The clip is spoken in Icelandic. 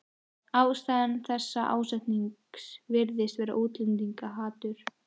Ástæða þessa ásetnings virðist vera útlendingahatur.